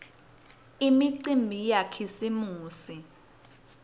imicimbi yakhisimusi